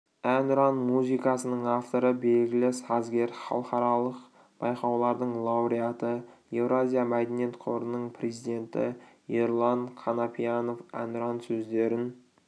әнұран музыкасының авторы белгілі сазгер халықаралық байқаулардың лауреаты еуразия мәдениет қорының президенті ерұлан қанапиянов әнұран сөздерін